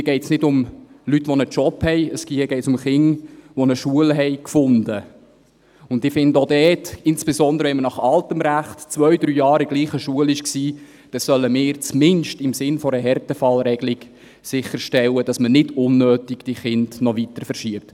Hier geht es nicht um solche, sondern um Kinder, die eine Schule gefunden haben, und ich finde, auch dort – insbesondere, wenn sie nach altem Recht zwei oder drei Jahre in derselben Schule waren – sollen wir zumindest im Sinne einer Härtefallregelung sicherstellen, dass man diese Kinder nicht noch unnötig weiter verschiebt.